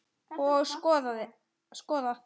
Og skoðað.